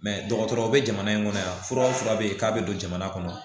dɔgɔtɔrɔw bɛ jamana in kɔnɔ yan fura o fura bɛ yen k'a bɛ don jamana kɔnɔ